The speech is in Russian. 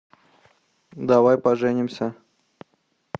давай поженимся